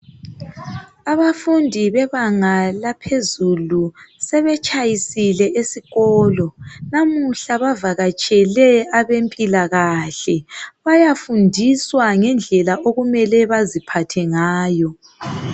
Abafundi bebanga laphezulu sebetshayisile esikolo lamuhla bavakatshele abezempilakahle bayafundiswa ngendlela okumele baziphathe ngayo.